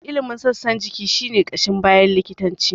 Ilimin sassan jiki shi ne ƙashin baya likitanci.